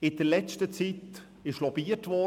In der letzten Zeit wurde lobbyiert.